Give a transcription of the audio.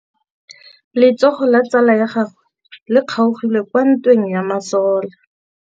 Letsôgô la tsala ya gagwe le kgaogile kwa ntweng ya masole.